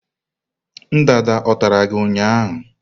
ndanda o tara gi ụnyahụ?